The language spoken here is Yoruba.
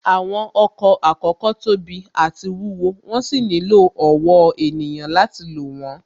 Àwọn ọkọ̀ àkọ́kọ́ tóbi àti wúwo, wón sì nílò ọ̀wọ́ ènìyàn láti lò wón